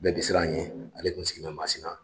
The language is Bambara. Bɛɛ bi siran an ye ale kun sigilen bɛ Masina.